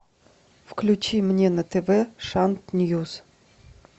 включи мне на тв шант ньюс